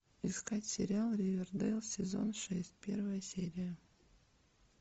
искать сериал ривердейл сезон шесть первая серия